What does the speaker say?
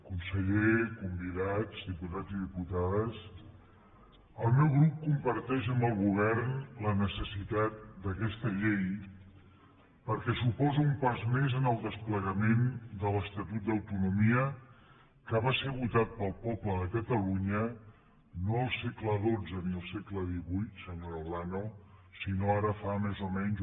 conseller convidats diputats i diputades el meu grup comparteix amb el govern la necessitat d’aquesta llei perquè suposa un pas més en el desplegament de l’estatut d’autonomia que va ser votat pel poble de catalunya no el segle senyora olano sinó ara fa més o menys